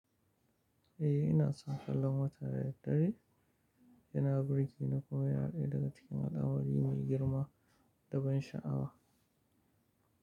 Eh, ina son kallon wata da daddare. Yana burge ni kuma yana ɗaya daga cikin al'amari mai girma da ban sha'awa.